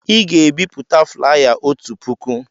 Ị ga-ebipụta flaya otu puku!